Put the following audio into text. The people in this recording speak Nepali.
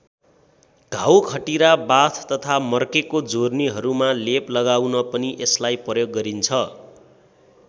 घाउ खटिरा बाथ तथा मर्केको जोर्नीहरूमा लेप लगाउन पनि यसलाई प्रयोग गरिन्छ।